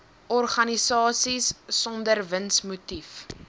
organisasies sonder winsmotief